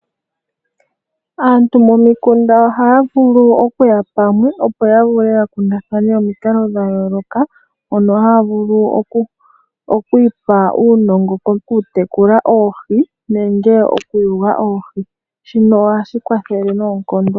Aantu momikunda ohaya vulu okuya pamwe opo ya vule ya kundathane omikalo dha yooloka, mono haya vulu okwiipa uunongo koku tekula oohi nenge okuyula oohi. Shino ohashi kwathele noonkondo.